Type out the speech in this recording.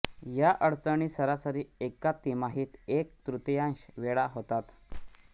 या अडचणी सरासरी एका तिमाहीत एक तृतीयांश वेळा होतात